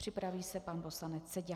Připraví se pan poslanec Seďa.